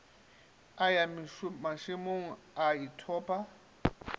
a ya mašemong a ithoma